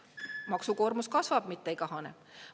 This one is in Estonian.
Maksukoormus kasvab, mitte ei kahane.